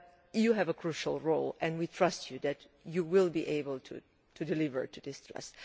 You have a crucial role, and we trust you that you will be able to deliver on this trust.